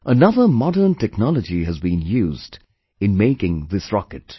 Another modern technology has been used in making this rocket